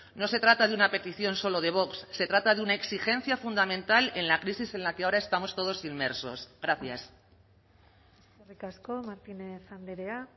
no se trata de una petición solo de vox se trata de una exigencia fundamental en la crisis en la que ahora estamos todos inmersos gracias eskerrik asko martínez andrea